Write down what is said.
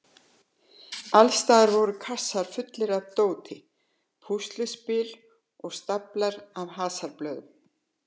Alls staðar voru kassar fullir af dóti, púsluspil og staflar af hasarblöðum.